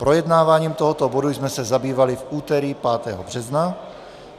Projednáváním tohoto bodu jsme se zabývali v úterý 5. března.